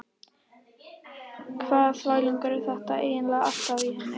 Hvaða þvælingur er þetta eiginlega alltaf á henni?